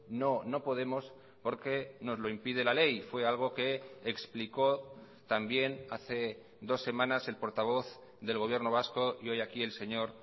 no no podemos porque nos lo impide la ley fue algo que explicó también hace dos semanas el portavoz del gobierno vasco y hoy aquí el señor